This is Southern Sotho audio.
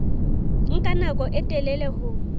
nka nako e telele ho